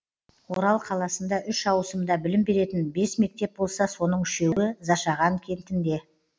орал қаласында үш ауысымда білім беретін бес мектеп болса соның үшеуі зашаған кентінде